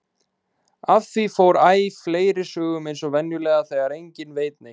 Af því fór æ fleiri sögum eins og venjulega þegar enginn veit neitt.